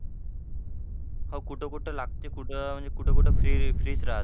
हो कुठं कुठं लागते कुठं म्हणजे कुठं कुठं free free च राहते.